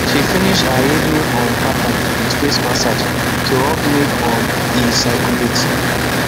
she finish her evening um pattern with face massage to help make um e circulate